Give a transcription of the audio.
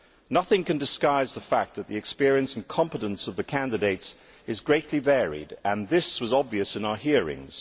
Nothing can disguise the fact that the experience and competence of the candidates varies greatly, and this was obvious in our hearings.